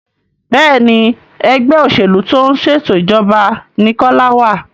Béèni Ẹgbẹ́ òṣèlú tó ń ṣètò ìjọba ní Kola wá.